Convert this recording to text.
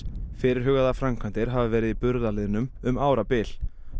fyrirhugaðar framkvæmdir hafa verið í burðarliðnum um árabil